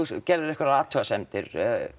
gerðir einhverjar athugasemdir